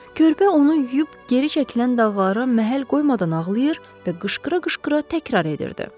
Körpə onu yuyub geri çəkilən dağlara məhəl qoymadan ağlayır və qışqıra-qışqıra təkrar edirdi.